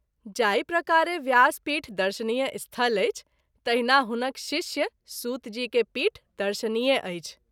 जाहि प्रकारे व्यास पीठ दर्शनीय स्थल अछि तहिना हुनक शिष्य सूत जी के पीठ दर्शनीय अछि।